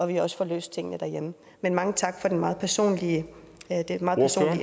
vi også får løst tingene derhjemme men mange tak for det meget personlige